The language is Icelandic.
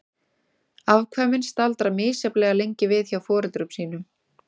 Afkvæmin staldra misjafnlega lengi við hjá foreldrum sínum.